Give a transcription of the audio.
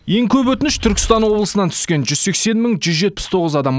ең көп өтініш түркістан облысынан түскен жүз сексен мың жүз жетпіс тоғыз адам